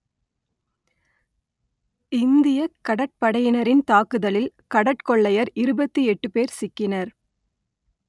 இந்தியக் கடற்படையினரின் தாக்குதலில் கடற்கொள்ளையர் இருபத்தி எட்டு பேர் சிக்கினர்